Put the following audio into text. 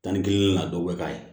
Tan ni kelen na dɔw bɛ k'a ye